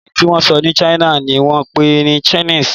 èdè tí wón sọ ní china ní wón pé ní Chinese.